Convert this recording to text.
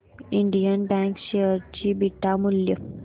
Indian bank share चे beta मूल्य